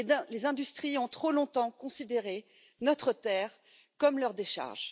Les industries ont trop longtemps considéré notre terre comme leur décharge.